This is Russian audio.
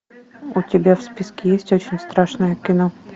у тебя в списке есть очень страшное кино